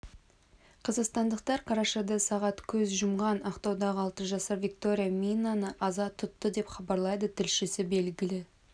қазақстандықтар қарашада сағат көз жұмған ақтаудағы алты жасар виктория мининаны аза тұтты деп хабарлайды тілшісі белгілі